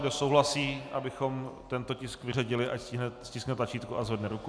Kdo souhlasí, abychom tento tisk vyřadili, ať stiskne tlačítko a zvedne ruku.